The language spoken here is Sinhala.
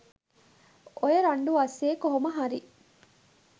ඔය රණ්ඩු අස්සෙ කොහොමහරි